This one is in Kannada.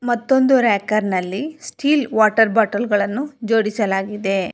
ಮತ್ತೊಂದು ರ್ಯಕರ್ ನಲ್ಲಿ ಸ್ಟೀಲ್ ವಾಟರ್ ಬೊಟಲ್ ಗಳನ್ನು ಜೋಡಿಸಲಾಗಿದೆ.